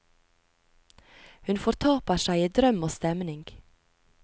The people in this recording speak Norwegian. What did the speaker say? Hun fortaper seg i drøm og stemning.